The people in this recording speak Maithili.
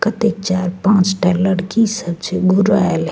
कत्ते चार-पांच टा लड़की सब छे घूराऐल --